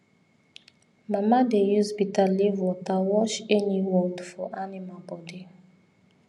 mama dey use bitterleaf water wash any wound for animal body